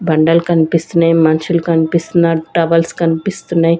బండలు కన్పిస్తున్నయి మనుషులు కన్పిస్తున్నారు టవల్స్ కన్పిస్తున్నయ్.